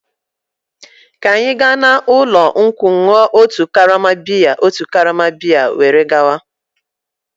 Ka anyị gaa n'ụlọ nkwụ ṅụọ otu karama bịya otu karama bịya were gawa.